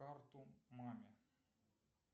карту маме